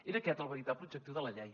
era aquest el veritable objectiu de la llei